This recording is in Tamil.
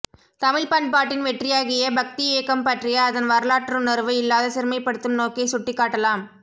தமிழ்ப் பண்பாட்டின் வெற்றியாகிய பக்திஇயக்கம் பற்றிய அதன் வரலாற்றுணர்வு இல்லாத சிறுமைப்படுத்தும் நோக்கைச் சுட்டிக்காட்டலாம்